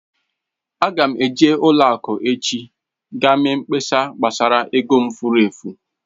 Ága m eji n'ụlọ akụ echi gaa mee mkpesa gbasara ego m fụrụ efu